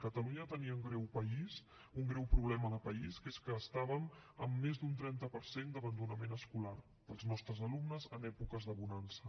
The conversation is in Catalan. catalunya tenia un greu problema de país que és que estàvem en més d’un trenta per cent d’abandonament escolar pels nostres alumnes en èpoques de bonança